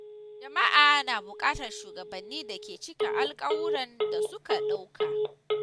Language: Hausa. Jama’a na buƙatar shugabanni da ke cika alƙawurran da suka ɗauka.